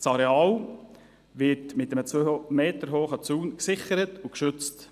Das Areal wird mit einem 2 Meter hohen Zaun gesichert und geschützt.